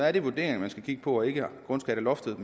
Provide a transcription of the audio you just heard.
er det vurderingerne man skal kigge på og ikke grundskatteloftet